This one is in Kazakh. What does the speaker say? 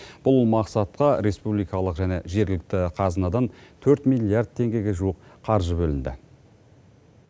бұл мақсатқа республикалық және жергілікті қазынадан төрт миллиард теңгеге жуық қаржы бөлінді